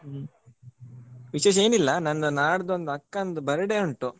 ಹ್ಮ್ ವಿಶೇಷ ಏನಿಲ್ಲ ನಂದು ನಾಡಿದ್ದು ಒಂದ್ ಅಕ್ಕಂದು birthday ಉಂಟು.